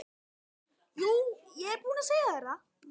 Jú, ég er búinn að segja þér það.